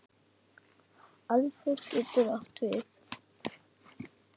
Aðför getur átt við